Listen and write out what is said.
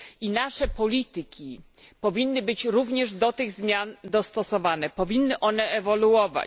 I nasze polityki powinny być również do tych zmian dostosowane, powinny one ewoluować.